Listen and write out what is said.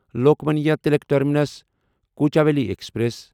Lokmanya Tilak terminus Kochuveli express